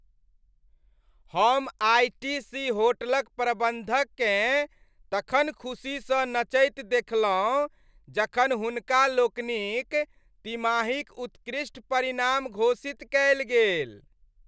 हम आइ.टी.सी. होटलक प्रबन्धककेँ तखन खुशीसँ नचैत देखलहुँ जखन हुनका लोकनिक तिमाहीक उत्कृष्ट परिणाम घोषित कएल गेल।